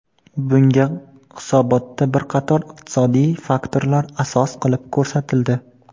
Bunga hisobotda bir qator iqtisodiy faktorlar asos qilib ko‘rsatildi.